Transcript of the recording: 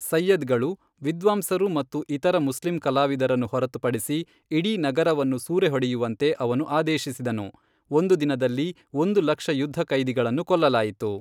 ಸೈಯ್ಯದ್ಗಳು, ವಿದ್ವಾಂಸರು ಮತ್ತು ಇತರ ಮುಸ್ಲಿಂ ಕಲಾವಿದರನ್ನು ಹೊರತುಪಡಿಸಿ ಇಡೀ ನಗರವನ್ನು ಸೂರೆಹೊಡೆಯುವಂತೆ ಅವನು ಆದೇಶಿಸಿದನು, ಒಂದು ದಿನದಲ್ಲಿ ಒಂದು ಲಕ್ಷ ಯುದ್ಧ ಕೈದಿಗಳನ್ನು ಕೊಲ್ಲಲಾಯಿತು.